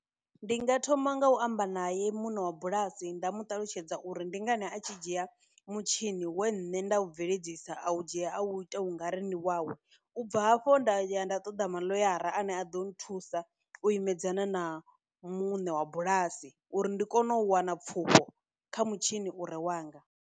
Ndi nga thoma nga u amba naye muṋe wa bulasi nda mu ṱalutshedza uri ndi ngani a tshi dzhia mutshini we nṋe nda u bveledzisa a u dzhia a wu ita ungari ndi wawe u bva hafho nda ya nda ṱoḓa maḽoyara ane a ḓo thusa u imedzana na muṋe wa bulasi uri ndi kone u wana pfufho kha mutshini ure wanga.